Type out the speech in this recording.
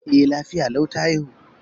E, lafiya lau ta haihu.